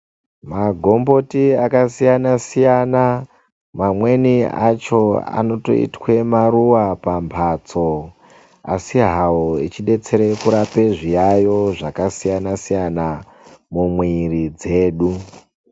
Magomboti akasiyana-siyana mamweni acho anotoitwe maruwa pambatso asihawo echidetsere kurape zviyayo zvakasiyana-siyana mumwiri dzedu.